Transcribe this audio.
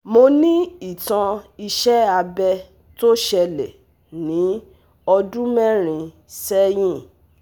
Mo ní ìtàn iṣé abẹ̀ tó ṣẹlẹ̀ ní ọdún mẹ́rin sẹ́yìn